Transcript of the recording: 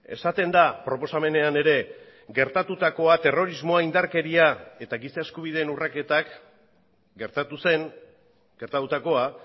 esaten da proposamenean ere gertatutakoa terrorismoa indarkeria eta giza eskubideen urraketak gertatu zen gertatutakoa